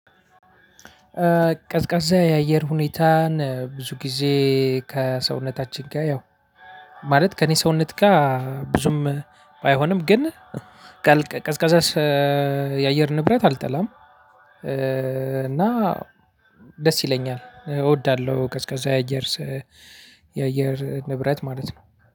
ቀዝቃዛ የአየር ሁኔታን ብዙ ጊዜ ከሰውነታችን ጋር ያው ማለት ከእኔ ሰውነት ጋር ብዙም ባይሆንም ግን ቀዝቃዛ የአየር ንብረት አልጠላም። እና ደስ ይለኛል እወዳለው። ቀዝቃዛ የአየር የአየር ንብረት ማለት ነው።